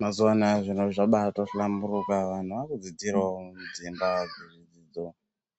Mazuva anaya zviro zvabaatohlamburuka vanhu vaakudzidzirawo mudzimba dzezvidzidzo.